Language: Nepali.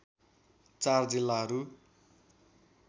४ जिल्लाहरू